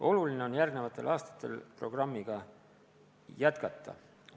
Oluline on järgmistel aastatel programmi jätkata.